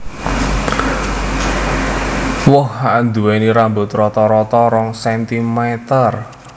Woh anduweni rambut rata rata rong centimeter